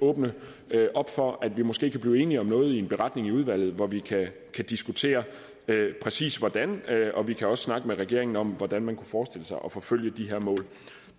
åbne op for at vi måske kan blive enige om noget i en beretning i udvalget hvor vi kan diskutere præcis hvordan og vi kan også snakke med regeringen om hvordan man kunne forestille sig at forfølge de her mål